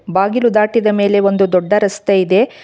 ಬಾಗಿಲು ದಾಟಿದ ಮೇಲೆ ಒಂದು ದೊಡ್ಡ ರಸ್ತೆಯಿದೆ.